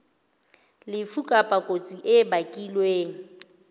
lefu kapa kotsi e bakilweng